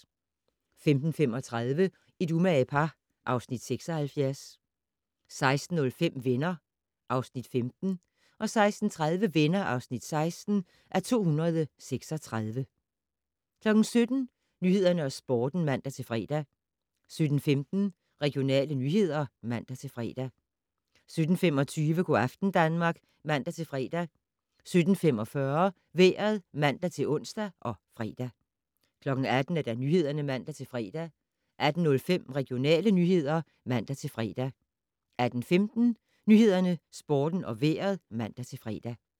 15:35: Et umage par (Afs. 76) 16:05: Venner (Afs. 15) 16:30: Venner (16:236) 17:00: Nyhederne og Sporten (man-fre) 17:15: Regionale nyheder (man-fre) 17:25: Go' aften Danmark (man-fre) 17:45: Vejret (man-ons og fre) 18:00: Nyhederne (man-fre) 18:05: Regionale nyheder (man-fre) 18:15: Nyhederne, Sporten og Vejret (man-fre)